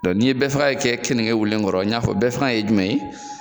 ni ye bɛɛ faga in kɛ keninge wililen kɔrɔ, n y'a fɔ bɛɛ faga ye jumɛn ye ?